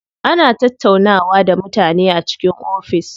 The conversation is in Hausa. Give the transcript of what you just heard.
Ana tattaunawa da mutane a cikin ofis.